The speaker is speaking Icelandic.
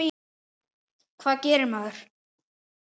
Hvað gerir maður?